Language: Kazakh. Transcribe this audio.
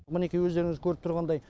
мінекей өздеріңіз көріп тұрғандай